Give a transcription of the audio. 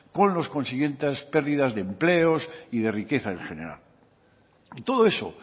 con los consiguientes pérdidas de empleo y de riqueza en general y todo eso